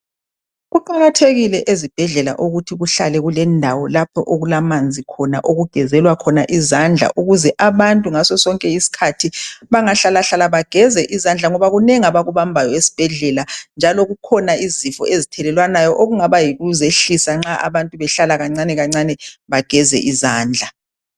Kuqakathekile ezibhedlela ukuthi kuhlale kulendawo lapho okulamanzi khona okugezelwa izandla ukuze abantu ngaso sonke isikhathi bangahlalahlala bageze izandla ngoba kunengi abakubambayo esibhedlela njalo kukhona izifo ezithelelwanayo okungaba yikuzehlisa nxa abantu behlala kancane kancane bageze izandla.